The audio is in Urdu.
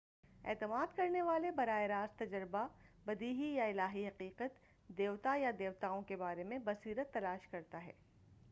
اعتماد کرنے والے براہ راست تجربہ، بدیہی، یا الہی حقیقت/دیوتا یا دیوتاؤں کے بارے میں بصیرت تلاش کرتا ہے۔